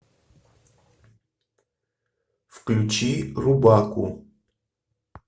включи рубаку